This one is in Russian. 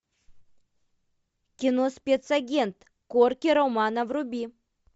кино спецагент корки романо вруби